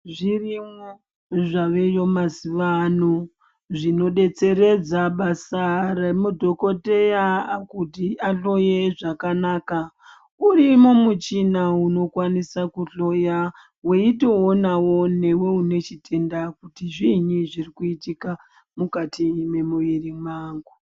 Zvirimwo zvaveyo mazuva ano zvinodetseredza basa remadhokodheya kuti ahloye zvakanaka urimo muchina unokwanisa kunhloya weitowonawo newe une chitenda kuti zviinyi zvirikuitika mukati mwemwiri mangu.